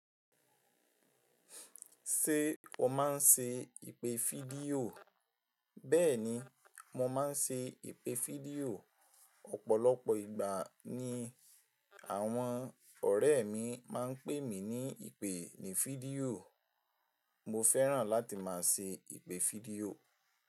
Ṣé o máa ń ṣe ìpè fídíò? Bẹ́ẹ̀ni, mo máa ń ṣe ìpè fídíò. Ọ̀pọ̀lọpọ̀ ìgbà ni àwọn ọ̀rẹ́ mi máa ń pè mí ní ìpè ní fídíò. Mo fẹ́ràn láti máa ṣe ìpè fídíò.